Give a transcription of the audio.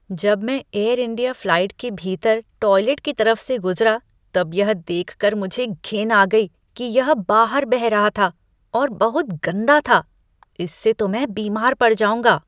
जब मैं Air India flight के भीतर टॉयलेट की तरफ से गुजरा तब यह देख कर मुझे घिन आ गई कि यह बाहर बह रहा था और बहुत गंदा था। इससे तो मैं बीमार पड़ जाऊँगा।